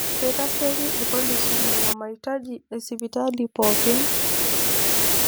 Keitasheki irpolisi nena maitaji esipitali pooki.